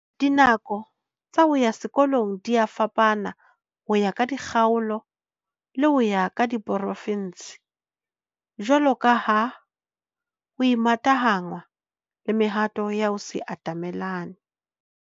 Dinako tsa ho ya sekolong dia fapana ho ya ka dikgaolo le ho ya ka diporofinse, jwalo ka ha ho imatahanngwa le mehato ya ho se atamelane.